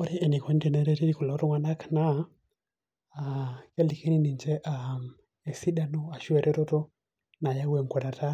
ore eneikoni tenereti kulo tung'anak naa kelikini ninche ,esidano ashu eretoto nayau enkwatata